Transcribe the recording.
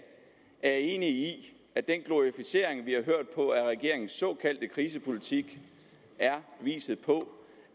er enig i at den glorificering vi har hørt på af regeringens såkaldte krisepolitik er beviset på